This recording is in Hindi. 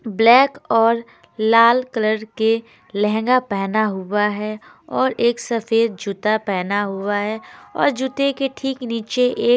ब्लैक और लाल कलर के लहंगा पहना हुआ है और एक सफेद जूता पहेना हुआ है और जूते के ठीक नीचे एक--